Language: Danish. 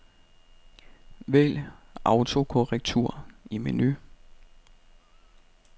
Vælg autokorrektur i menu.